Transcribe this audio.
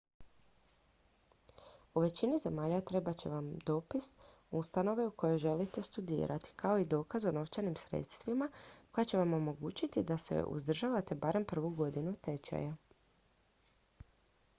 u većini zemalja trebat će vam dopis ustanove u kojoj želite studirati kao i dokaz o novčanim sredstvima koja će vam omogućiti da se uzdržavate barem prvu godinu tečaja